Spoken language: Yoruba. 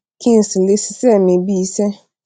kí n sì lè ṣiṣẹ mi bíi iṣẹ